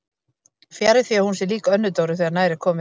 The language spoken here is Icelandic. Fjarri því að hún sé lík Önnu Dóru þegar nær er komið.